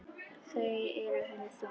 Þau eru henni þung.